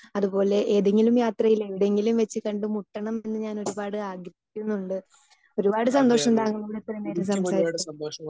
Speaker 2 അതുപോലെ ഏതെങ്കിലും യാത്രയിൽ എവിടെയെങ്കിലും വെച്ച് കണ്ടുമുട്ടണം എന്ന് ഞാൻ ഒരുപാട് ആഗ്രഹിക്കുന്നുണ്ട്. ഒരുപാട് സന്തോഷം താങ്കളോട് ഇത്രയും നേരം സംസാരിച്ചത്